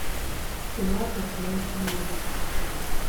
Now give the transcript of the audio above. пилатес для начинающих